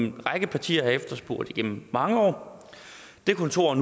en række partier har efterspurgt igennem mange år kontoret